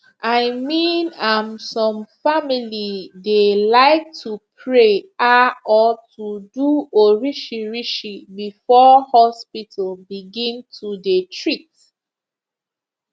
i mean am some family dey like to pray ah or to do orishirishi before hospital begin to dey treat